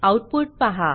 output पाहा